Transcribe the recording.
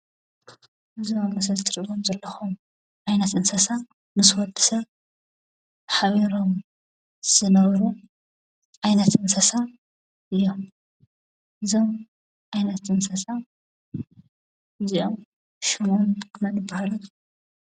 እዞም ኣብ ምስሊ ኣትሪእዎም ዘለኹም ዓይነት እንስሳ ምስ ወዲ ሰብ ሓቢሮም ዝነብሩ ዓይነት እንስሳ እዮም። እዞም ዓይነት እንስሳ እዚኦም ሽሞም መን ይብሃሉ?